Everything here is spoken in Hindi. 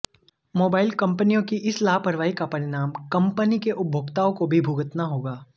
मोबाइल कंपनियों की इस लापरवाही का परिणाम कंपनी के उपभोक्ताओं को भी भुगतना होगा